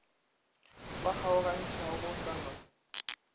ba kgaogantšhago go sa na